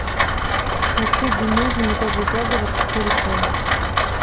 хочу би муви медовый заговор четыре ка